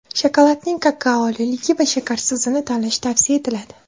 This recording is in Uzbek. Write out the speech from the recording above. Shokoladning kakaoligi va shakarsizini tanlash tavsiya etiladi.